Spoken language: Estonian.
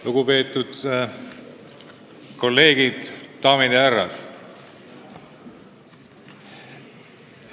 Lugupeetud kolleegid, daamid ja härrad!